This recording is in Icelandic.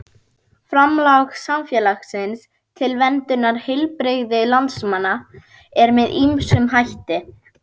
Framlag samfélagsins til verndunar heilbrigði landsmanna er með ýmsum hætti.